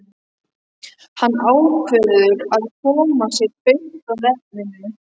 Hann ákveður að koma sér beint að efninu.